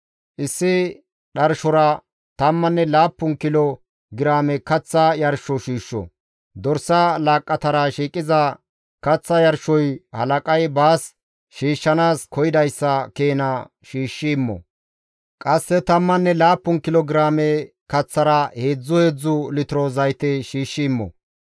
Issi dharshora tammanne laappun kilo giraame kaththa yarsho shiishsho. Dorsa laaqqatara shiiqiza kaththa yarshoy halaqay baas shiishshanaas koyidayssa keena shiishshi immo. Qasse tammanne laappun kilo giraame kaththara heedzdzu heedzdzu litiro zayte shiishshi immo.